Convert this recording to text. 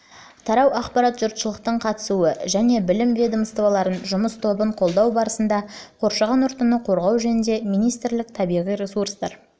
тарау ақпарат жұртшылықтың қатысуы және білім ведомствоаралық жұмыс тобын қолдау барысында қоршаған ортаны қорғау жөніндегі министрлік табиғи ресурстар